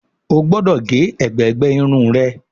o gbódò ge ègbé gbé Irun rẹ!